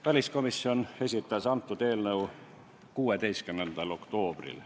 Väliskomisjon esitas antud eelnõu 16. oktoobril.